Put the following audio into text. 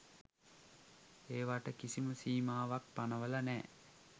ඒවට කිසිම සීමාවක් පනවල නෑ.